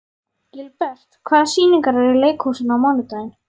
Gilbert, hvaða sýningar eru í leikhúsinu á mánudaginn?